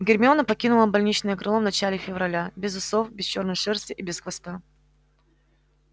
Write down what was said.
гермиона покинула больничное крыло в начале февраля без усов без чёрной шерсти и без хвоста